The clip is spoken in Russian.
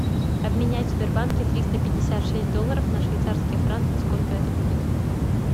обменять в сбербанке триста пятьдесят шесть долларов на швейцарские франки сколько это будет